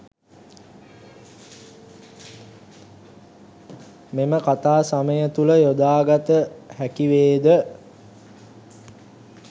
මෙම කතා සමය තුල යොදාගත හැකි වේද?